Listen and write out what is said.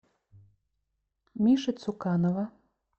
миши цуканова